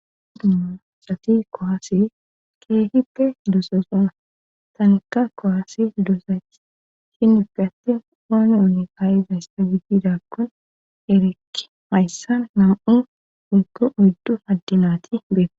dumaa sati kohaase keehippe duososona tanka kowaasi duosa shinipe attin ooni ouni ayiza s fa giddidakkon erekki mayssan nam7u oggo oddu addinati beete